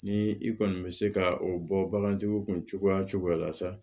Ni i kɔni bɛ se ka o bɔ bagantigiw kun cogoya cogoya fɛ